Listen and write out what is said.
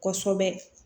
Kosɛbɛ